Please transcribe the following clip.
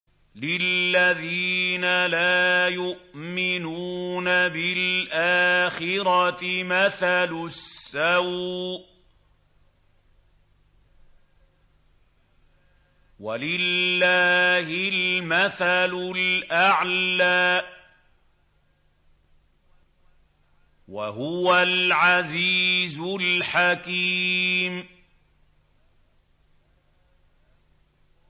لِلَّذِينَ لَا يُؤْمِنُونَ بِالْآخِرَةِ مَثَلُ السَّوْءِ ۖ وَلِلَّهِ الْمَثَلُ الْأَعْلَىٰ ۚ وَهُوَ الْعَزِيزُ الْحَكِيمُ